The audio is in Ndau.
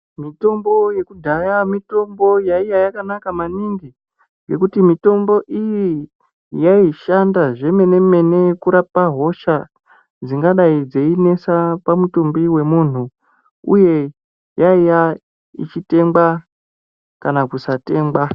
Mitombo yekudhaya mitombo yainge yakanaka maningi nekuti mitombo iyi yaishanda zvemene mene kurapa hosha dzingadai dzeinesa pamutumbi wemunhu uye yaiva ichitengwa kana kusatengwa.